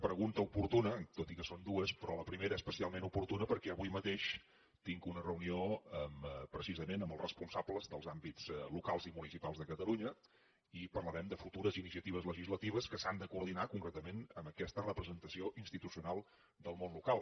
pregunta oportuna tot i que són dues però la primera especialment oportuna perquè avui mateix tinc una reunió precisament amb els responsables dels àmbits locals i municipals de catalunya i parlarem de futures iniciatives legislatives que s’han de coordinar concretament amb aquesta representació institucional del món local